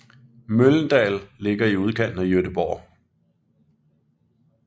Mölndal ligger i udkanten af Göteborg